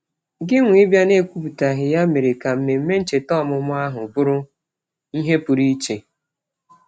Gịnwa ịbịa n'ekwuputaghị ya mere ka mmemme ncheta ọmụmụ ahụ bụrụ ihe pụrụ iche.